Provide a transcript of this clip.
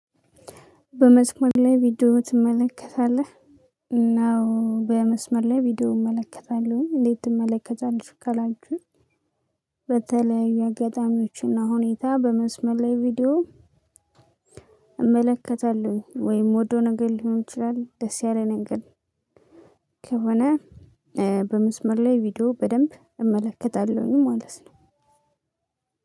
በመስመር ላይ ቪዲዮ ትመለከታለህ? እና አዎ በመስመር ላይ ቪዲዮ እመለከታለሁኝ እንዴት ትመለከቻለች ካላችሁኝ? በተለያዩ አጋጣሚዎች እና ሁኔታ በመስመር ላይ ቪዲዮ። እመለከታለሁ ወይም ምወዶው ነገር ሊሆን ይችላል ደስ ያለ ነገር። ከሆነ እ በመስመር ላይ ቪዲዮ በደንብ እመለከታለሁኝ ማለት ነው።